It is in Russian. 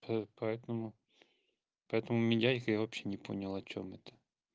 п поэтому поэтому мидяйка я вообще не понял о чём это